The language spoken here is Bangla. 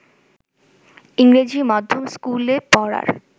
ইংরেজি মাধ্যম স্কুলে পড়ার